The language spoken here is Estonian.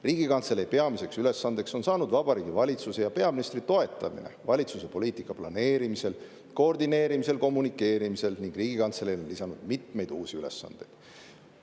Riigikantselei peamiseks ülesandeks on saanud Vabariigi Valitsuse ja peaministri toetamine valitsuse poliitika planeerimisel, koordineerimisel ja kommunikeerimisel ning Riigikantseleile on lisandunud mitmeid uusi ülesandeid.